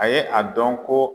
A ye a dɔn ko